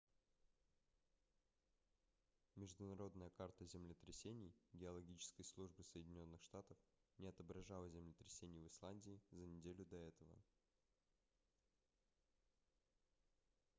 международная карта землетрясений геологической службы соединённых штатов не отображала землетрясений в исландии за неделю до этого